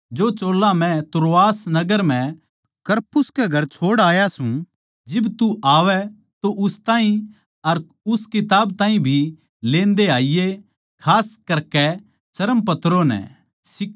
जो चोल्ला मै त्रोआस नगर म्ह करपुस के घर छोड़ आया सूं जिब तू आवै तो उस ताहीं अर उस किताब ताहीं भी लेंदे आईये खास करके चर्मपत्रों नै